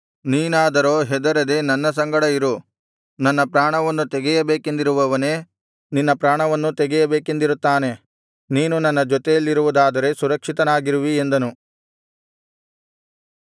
ನೀನಾದರೋ ಹೆದರದೆ ನನ್ನ ಸಂಗಡ ಇರು ನನ್ನ ಪ್ರಾಣವನ್ನು ತೆಗೆಯಬೇಕೆಂದಿರುವವನೇ ನಿನ್ನ ಪ್ರಾಣವನ್ನೂ ತೆಗೆಯಬೇಕೆಂದಿರುತ್ತಾನೆ ನೀನು ನನ್ನ ಜೊತೆಯಲ್ಲಿರುವುದಾದರೆ ಸುರಕ್ಷಿತನಾಗಿರುವಿ ಎಂದನು